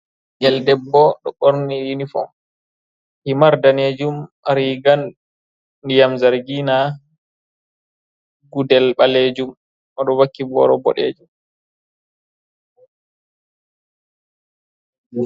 Ɓingel debbo ɗo ɓorni uniform, himar danejum, riga ndiyam zargina, gudel ɓalejum, o ɗo vakki boro boɗejum.